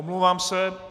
Omlouvám se.